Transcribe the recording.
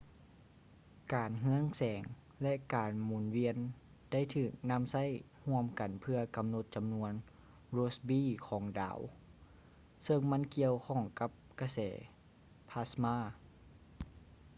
ການເຮືອງແສງ ແລະ ການໝຸນວຽນໄດ້ຖືກນໍາໃຊ້ຮ່ວມກັນເພື່ອກໍານົດຈໍານວນ rossby ຂອງດາວ ເຊິ່ງມັນກ່ຽວຂ້ອງກັບກະແສພາສມາ